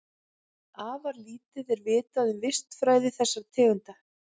Afar lítið er vitað um vistfræði þessara tegunda.